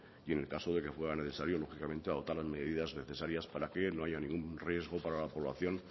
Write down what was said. y en el caso de que fuera necesario lógicamente adoptar las medidas necesarias para que no haya ningún riesgo para la población